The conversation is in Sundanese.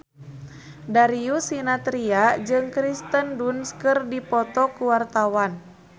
Darius Sinathrya jeung Kirsten Dunst keur dipoto ku wartawan